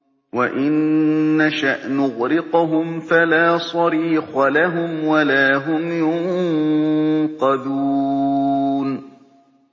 وَإِن نَّشَأْ نُغْرِقْهُمْ فَلَا صَرِيخَ لَهُمْ وَلَا هُمْ يُنقَذُونَ